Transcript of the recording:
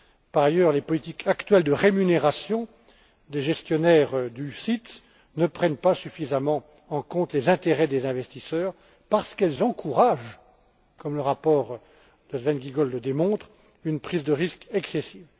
Par ailleurs, les politiques actuelles de rémunération des gestionnaires d'OPCVM ne prennent pas suffisamment en compte les intérêts des investisseurs, parce qu'elles encouragent, comme le rapport de Sven Giegold le démontre, une prise de risque excessive.